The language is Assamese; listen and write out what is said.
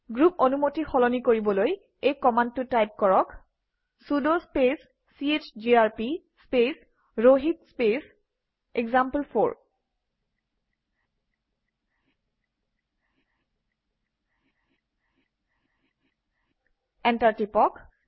গ্ৰুপ অনুমতি সলনি কৰিবলৈ এই কমাণ্ডটো টাইপ কৰক - চুদ স্পেচ চিজিআৰপি স্পেচ ৰহিত স্পেচ এক্সাম্পল4 এণ্টাৰ টিপক